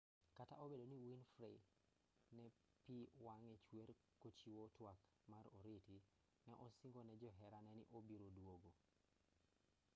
kata obedo ni winfrey ne pi wang'e chwer kochiwo twak mar oriti ne osingo ne joherane ni obiro duogo